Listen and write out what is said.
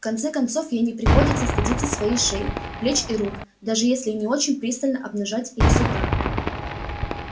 в конце концов ей не приходится стыдиться своей шеи плеч и рук даже если и не очень пристало обнажать их с утра